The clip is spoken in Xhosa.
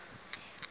kha ndise isandla